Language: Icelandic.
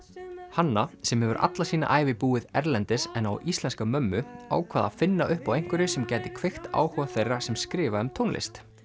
hanna sem hefur alla sína ævi búið erlendis en á íslenska mömmu ákvað að finna upp á einhverju sem gæti kveikt áhuga þeirra sem skrifa um tónlist